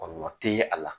Kɔlɔlɔ te ye a la